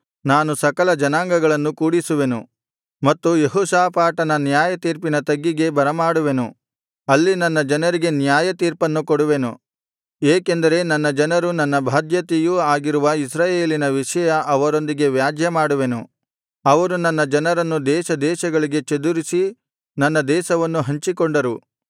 ನಾನು ಸಕಲ ಜನಾಂಗಗಳನ್ನು ಕೂಡಿಸುವೆನು ಮತ್ತು ಯೆಹೋಷಾಫಾಟನ ನ್ಯಾಯತೀರ್ಪಿನ ತಗ್ಗಿಗೆ ಬರಮಾಡುವೆನು ಅಲ್ಲಿ ನನ್ನ ಜನರಿಗೆ ನ್ಯಾಯತೀರ್ಪನ್ನು ಕೊಡುವೆನು ಏಕೆಂದರೆ ನನ್ನ ಜನರು ನನ್ನ ಬಾಧ್ಯತೆಯೂ ಆಗಿರುವ ಇಸ್ರಾಯೇಲಿನ ವಿಷಯ ಅವರೊಂದಿಗೆ ವ್ಯಾಜ್ಯ ಮಾಡುವೆನು ಅವರು ನನ್ನ ಜನರನ್ನು ದೇಶದೇಶಗಳಿಗೆ ಚದುರಿಸಿ ನನ್ನ ದೇಶವನ್ನು ಹಂಚಿಕೊಂಡರು